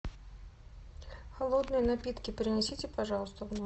холодные напитки принесите пожалуйста в номер